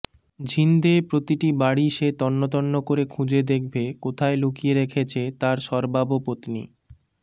ঝিন্দে প্রতিটি বাড়ি সে তন্নতন্ন করে খুঁজে দেখবে কোথায় লুকিয়ে রেখেছে তার সর্বাবপত্নী